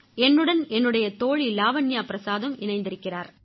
என்னுடன் என்னுடைய தோழி லாவண்யா பிரசாதும் இணைந்திருக்கிறார்